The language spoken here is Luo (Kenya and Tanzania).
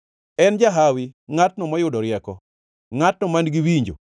En jahawi ngʼatno moyudo rieko, ngʼatno man-gi winjo,